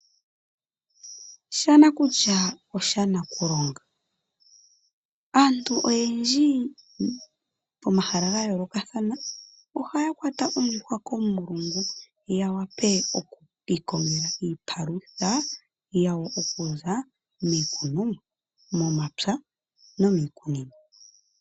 Shanakulya osho shanakulonga. Aantu oyendji komahala ga yoolokathana ohaya kwata ondjuhwa komulungu ya wape oku ka ikongela iipalutha yawo okuza miikunomwa, momapya nomiikunino.